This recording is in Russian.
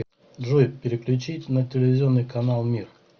джой переключить на телевизионный канал мир